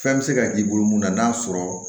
Fɛn bɛ se ka k'i bolo mun na n'a sɔrɔ